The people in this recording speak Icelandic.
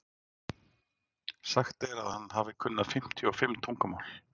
Sagt er að hann hafi kunnað fimmtíu og fimm tungumál.